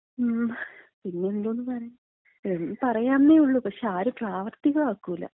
ങ്ങും, പിന്നെ എന്തോന്ന് പറയാൻ, പറയാന്നേയുള്ളൂ പക്ഷേ, ആരും പ്രാവർത്തികമാക്കൂല.